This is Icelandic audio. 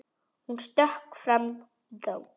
Hún stökk fram í gang.